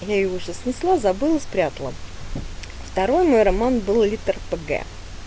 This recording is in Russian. я её уже снесла забыла спрятала второй мой роман был литр п г